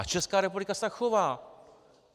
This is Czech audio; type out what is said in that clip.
A Česká republika se tak chová.